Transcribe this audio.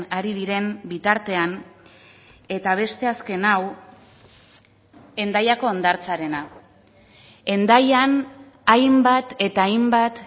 ari diren bitartean eta beste azken hau hendaiako hondartzarena hendaian hainbat eta hainbat